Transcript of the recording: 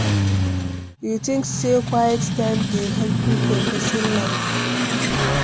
You think say quiet time dey helpful for pesin life?